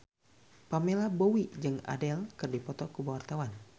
Pamela Bowie jeung Adele keur dipoto ku wartawan